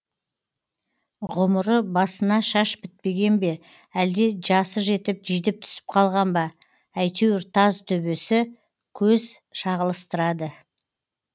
ғұмыры басына шаш бітпеген бе әлде жасы жетіп жидіп түсіп қалған ба әйтеуір таз төбесі көз шағылыстырады